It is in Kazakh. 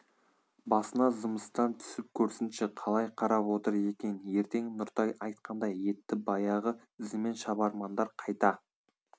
басына зымыстан түсіп көрсінші қалай қарап отыр екен ертең нұртай айтқандай етті баяғы ізімен шабармандар қайта